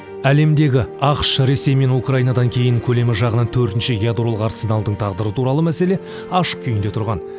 әлемдегі ақш ресей мен украинадан кейін көлемі жағынан төртінші ядролық арсеналдың тағдыры туралы мәселе ашық күйінде тұрған